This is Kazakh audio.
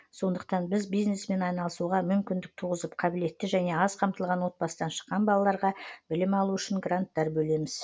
сондықтан біз бизнеспен айналысуға мүмкіндік туғызып қабілетті және аз қамтылған отбасыдан шыққан балаларға білім алу үшін гранттар бөлеміз